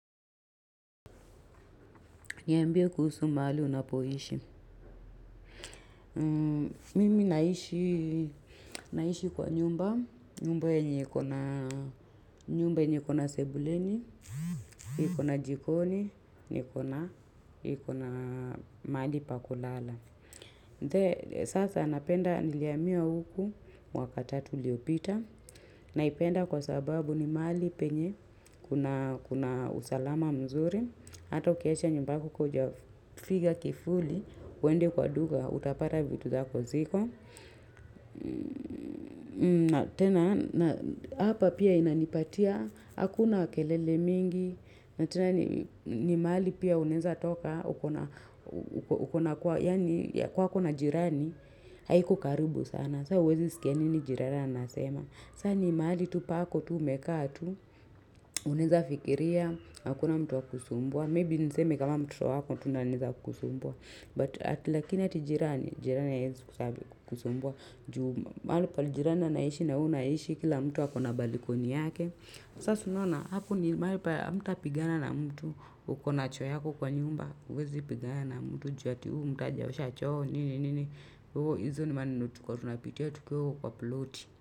Niambie kuhusu mahali unapoishi. Mimi naishi kwa nyumba. Nyumba yenye iko na sebuleni, iko na jikoni, iko na mahali pa kulala. Sasa napenda nilihamia huku mwaka tatu uliopita. Naipenda kwa sababu ni mahali penye kuna usalama mzuri. Hata ukiacha nyumba yako ka hujafiga kifuli uende kwa duka, utapata vitu zako ziko. Na tena, na hapa pia inanipatia, hakuna kelele mingi, na tena ni mahali pia unaeza toka, uko na kwa yaani, kwako na jirani, haiko karibu sana. Saa huwezi sikia nini jirani anasema. Saa ni mahali tu pako, tu umekaa tu, unaeza fikiria, hakuna mtu wa kukusumbua. Maybe niseme kama mtoto wako tu ndo anaeza kukusumbua. But ati lakini ati jirani, jirani ya haezikusumbua, juu mahali penye jirani anaishi na wewe unaishi kila mtu wako na balikoni yake, saso nona, haku ni malipa mta pigana na mtu, ukona cho yako kwa nyumba, uwezi pigana na mtu, juu hati uu, mtu ajaosha choo, nini, nini. Uo hizo ni mani nutu katuna piti ya tuke uu uploat.